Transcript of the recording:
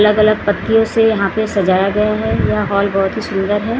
अलग अलग पत्तियों से यहाँ पे सजाया गया है हाल बहुत ही सुंदर है।